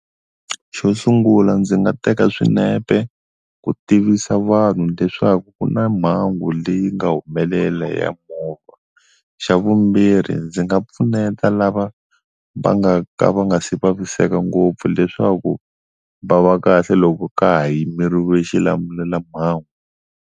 Xo sungula ndzi nga teka swinepe ku tivisa vanhu leswaku ku na mhangu leyi nga humelela ya movha, xa vumbirhi ndzi nga pfuneta lava va nga ka va nga si vaviseka ngopfu leswaku va va kahle loko ka ha yimeriwa xilamulelamhangu.